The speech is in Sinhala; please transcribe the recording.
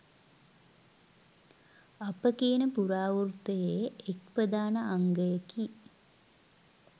අප කියන පුරාවෘත්තයේ එක් ප්‍රධාන අංගයකි